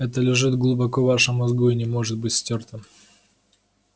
это лежит глубоко в вашем мозгу и не может быть стёрто